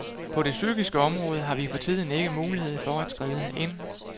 På det psykiske område har vi for tiden ikke mulighed for at skride ind.